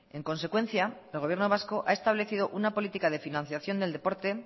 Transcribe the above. en consecuencia el gobierno vasco ha establecido una política de financiación del deporte